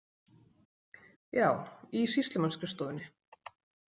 Já, í sýslumannsskrifstofunni.